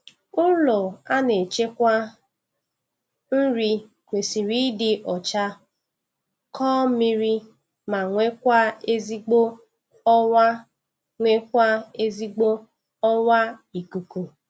Ụlọ a na-echekwa nri kwesịrị ịdị ọcha, kọọ mmiri ma nwekwa ezigbo ọwa nwekwa ezigbo ọwa ikuku